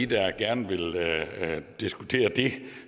der gerne vil diskutere det